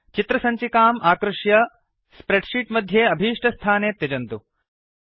चित्रसञ्चिकाम् आकृष्य spreadsheet मध्ये अभीष्टस्थाने त्यजन्तु